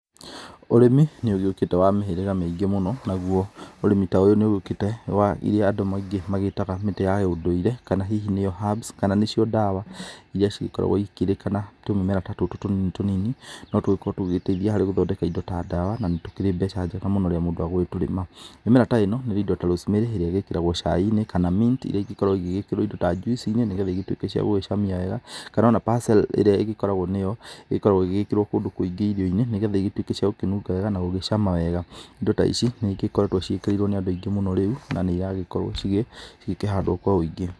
Ũrĩmi nĩ ũgĩũkĩte wa mĩhĩrĩga mĩingĩ mũno naguo ũrĩmi ta ũyũ nĩ ũgĩũkĩte wa iria andũ aingĩ magĩtaga mĩtĩ ya ũndũire kana hihi nĩyo herbs kana nĩcio dawa iria cigĩkoragwo ikĩrĩkana atĩ tũmĩmera ta tũtũ tũnini tũnini no tũgĩkorwo tũgĩteithia harĩ gũthondeka indo ta dawa na nĩ tũkĩrĩ mbeca njega mũno rĩrĩa mũndũ egũgĩtũrĩma. Mĩmera ta ĩno nĩ indo ta Rosemary ĩrĩa ĩgĩkĩragwo cai-inĩ kana mint iria igĩkoragwo igĩkĩrwo kĩndũ ta juice inĩ nĩgetha igĩtuĩke cia gũgĩcamia wega, kana o na basil ĩrĩa ĩgĩkoragwo nĩyo ĩkoragwo ĩgĩgĩkĩrwo kũndũ kũingĩ irio-inĩ nĩgetha igĩtuĩke cia gũkĩnunga wega na gũgĩcama wega. Indo ta ici nĩ igĩkoretwo ciĩkĩrĩirwo nĩ andũ aingĩ rĩu na nĩ iragĩkorwo cigĩkĩhandwo kwa ũingĩ.